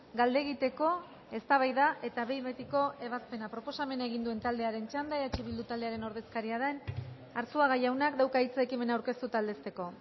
galdegiteko eztabaida eta behin betiko ebazpena proposamena egin duen taldearen txanda eh bildu taldearen ordezkaria den arzuaga jaunak dauka hitza ekimena aurkeztu eta aldezteko